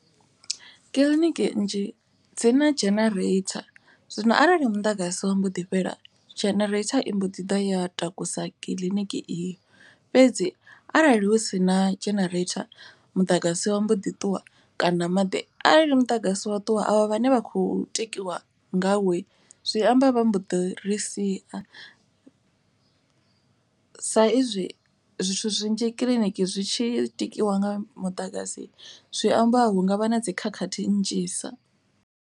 Kiḽiniki nnzhi dzina dzhenereitha zwino arali muḓagasi wa mbo ḓi fhela dzhenereitha i mbo ḓi ḓa ya takusa kiḽiniki iyi. Fhedzi arali hu sina dzhenereitha muḓagasi wa mbo ḓi ṱuwa kana maḓi. Arali muḓagasi wa ṱuwa avha vhane vha khou tikiwa nga wo zwi amba vha mbo ḓi ri sia. Sa izwi zwithu zwinzhi kiḽiniki zwi tshi tikiwa nga muḓagasi zwi amba hungavha na dzi khakhathi nnzhisa.